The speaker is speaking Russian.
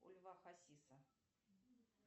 у льва хасиса